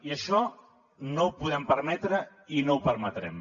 i això no ho podem permetre i no ho permetrem